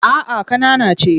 A'a ƙanana ce.